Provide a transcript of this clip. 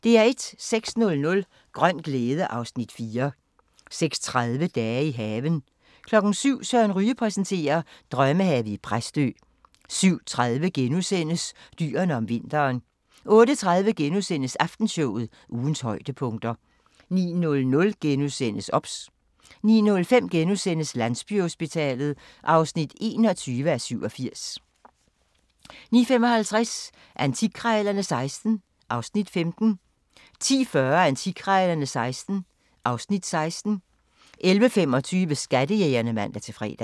06:00: Grøn glæde (Afs. 4) 06:30: Dage i haven 07:00: Søren Ryge præsenterer: Drømmehave i Præstø 07:30: Dyrene om vinteren * 08:30: Aftenshowet – ugens højdepunkter * 09:00: OBS * 09:05: Landsbyhospitalet (21:87)* 09:55: Antikkrejlerne XVI (Afs. 15) 10:40: Antikkrejlerne XVI (Afs. 16) 11:25: Skattejægerne (man-fre)